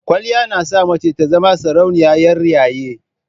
Kwaliya na sa mace ta zama sarauniya 'yar yayi.